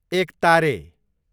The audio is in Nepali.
एकतारे